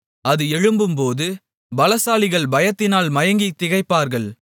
அது எழும்பும்போது பலசாலிகள் பயத்தினால் மயங்கித் திகைப்பார்கள்